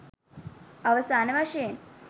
අවසාන වශයෙන්